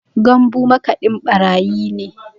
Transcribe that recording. Gambu makaɗin ɓarayi ne